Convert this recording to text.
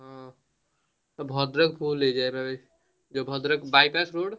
ହଁ ପୁରା ଭଦ୍ରକ full ହେଇଯାଏ ଏଇଟା ଭଦ୍ରକ bypass road